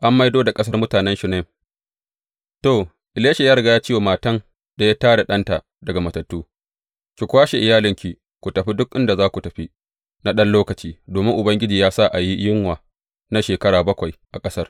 An maido da ƙasar mutanen Shunem To, Elisha ya riga ya ce wa matan da ya tā da ɗanta daga matattu, Ki kwashe iyalinki ku tafi duk inda za ku tafi na ɗan lokaci, domin Ubangiji ya sa a yi yunwa na shekara bakwai a ƙasar.